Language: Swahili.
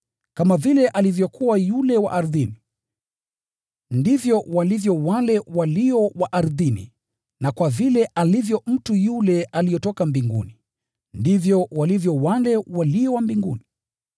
Kama vile alivyokuwa yule wa ardhini, ndivyo walivyo wale walio wa ardhini; na kwa vile alivyo mtu yule aliyetoka mbinguni, ndivyo walivyo wale walio wa mbinguni.